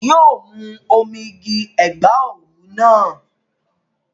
Yi o mú omi igi Ẹ̀gbá òwú náà.